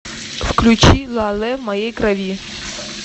включи ла лэ в моей крови